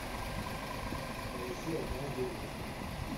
поищи однажды ночью